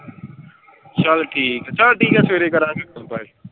ਚਲ ਠੀਕ ਆ, ਚਲ ਠੀਕ ਆ ਸਵੇਰੇ ਕਰਾਂਗੇ ਗੱਲ bye.